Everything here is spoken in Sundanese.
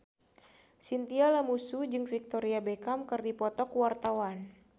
Chintya Lamusu jeung Victoria Beckham keur dipoto ku wartawan